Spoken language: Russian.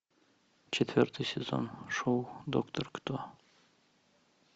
четвертый сезон шоу доктор кто